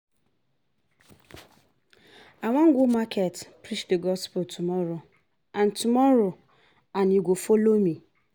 I wan go market preach the gospel tomorrow and tomorrow and you go follow me